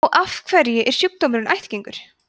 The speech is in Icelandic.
og af hverju er sjúkdómurinn ættgengur